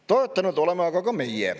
Toetanud oleme aga ka meie.